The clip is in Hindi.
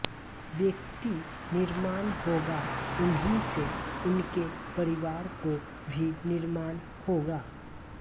व्यक्ति निर्माण होगा उन्हीं से उनके परिवारों को भी निर्माण होगा